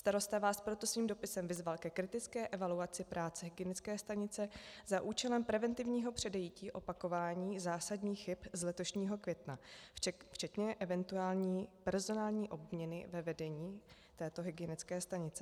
Starosta vás proto svým dopisem vyzval ke kritické evaluaci práce hygienické stanice za účelem preventivního předejití opakování zásadních chyb z letošního května včetně eventuální personální obměny ve vedení této hygienické stanice.